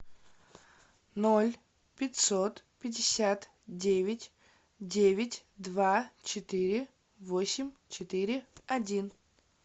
ноль пятьсот пятьдесят девять девять два четыре восемь четыре один